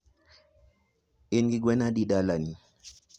in gi gwen adi dala ni?